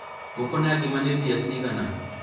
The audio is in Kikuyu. ngũkũ na ngima nĩ mbia cigana?